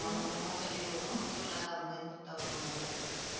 ஒன்றரை மாசம் leave வரும் full ஆ அங்க இருந்துட்டுதான் வருவோம் நாங்க.